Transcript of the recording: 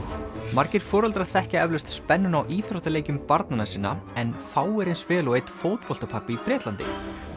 margir foreldrar þekkja eflaust spennuna á íþróttaleikjum barnanna sinna en fáir eins vel og einn fótboltapabbi í Bretlandi